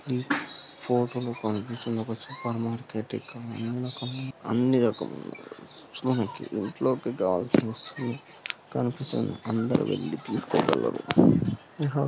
ఈ ఫోటో కనిపిస్తున్నా supermarket ఇది ఇందులో మనకు ఇంట్లోకి కావాల్సిన అని దొరుకుతాయి.